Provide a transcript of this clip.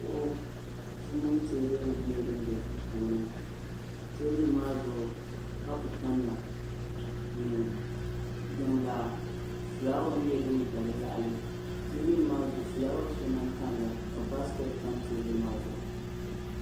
kuɣusi mini teebuli nyɛla din bɛ duu puuni teebuli maa zuɣu kapu tamya ni jiŋlaa fulaawa nyɛla din ʒɛ di yaɣali teebuli maa zuɣu fulaawa shɛli lahi tamya ka baskɛt tam teebuli maa zuɣu